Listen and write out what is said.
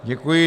Děkuji.